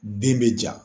Den bɛ ja